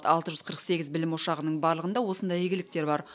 алты жүз қырық сегіз білім ошағының барлығында осындай игіліктер бар